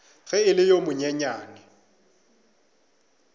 ge e le yo monyenyane